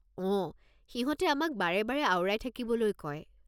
অঁ, সিহঁতে আমাক বাৰে বাৰে আওৰাই থাকিবলৈ কয়।